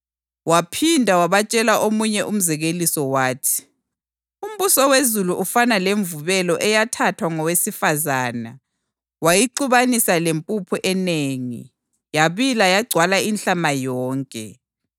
Waphinda wabatshela omunye umzekeliso wathi, “Umbuso wezulu ufana lemvubelo eyathathwa ngowesifazane wayixubanisa lempuphu enengi, yabila yagcwala inhlama yonke.”